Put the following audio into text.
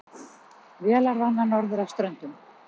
Vélarvana norður af Ströndum